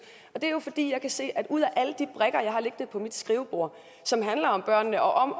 det er jo fordi jeg kan se at ud af alle de brikker jeg har liggende på mit skrivebord som handler om børnene og om at